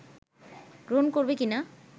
গ্রহণ করবে কিনা